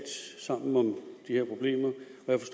sammen om de her problemer